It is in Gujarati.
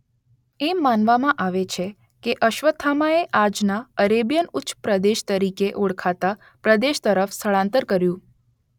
એમ માનવામાં આવે છે કે અશ્વત્થામાએ આજના અરેબિયન ઉચ્ચ પ્રદેશ તરીકે ઓળખાતા પ્રદેશ તરફ સ્થળાંતર કર્યું.